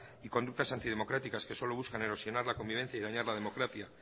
y conductas antidemocráticas que solo buscan erosionar la convivencia y dañar la democracia